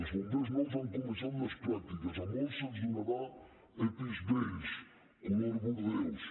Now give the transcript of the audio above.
els bombers nous han començat les pràctiques a molts se’ls donarà epi vells color bordeus